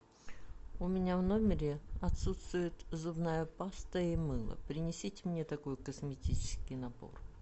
у меня в номере отсутствует зубная паста и мыло принесите мне такой косметический набор